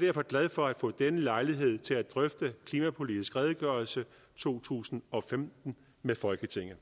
derfor glad for at få denne lejlighed til at drøfte klimapolitisk redegørelse to tusind og femten med folketinget